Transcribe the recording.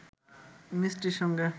মিষ্টির সঙ্গে